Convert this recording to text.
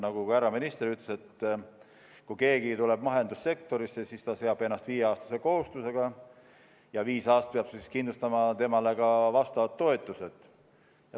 Nagu ka härra minister ütles, et kui keegi tuleb mahesektorisse, siis ta seob ennast viieaastase kohustusega ja viis aastat peab kindlustama temale ka vastavad toetused.